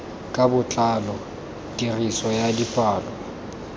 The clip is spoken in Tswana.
ka botlalo tiriso ya dipalo